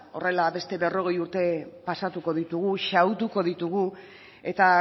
horrela beste berrogei urte pasatuko ditugu xahutuko ditugu eta